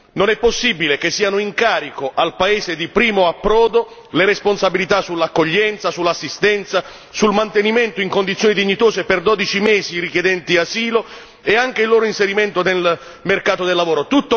Non è possibile che siano in carico al paese di primo approdo le responsabilità per l'accoglienza, l'assistenza, il mantenimento in condizioni dignitose per 12 mesi i richiedenti asilo e anche il loro inserimento nel mercato del lavoro.